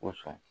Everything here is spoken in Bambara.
Kosɔn